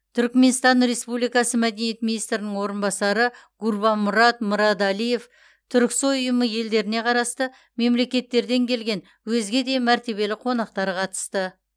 түркіменстан республикасы мәдениет министрінің орынбасары гурбанмұрад мырадалиев түрксой ұйымы елдеріне қарасты мемлекеттерден келген өзге де мәртебелі қонақтар қатысты